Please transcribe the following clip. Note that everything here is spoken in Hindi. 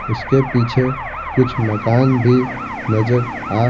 उसके पीछे कुछ मकान भी नजर आ--